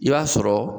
I b'a sɔrɔ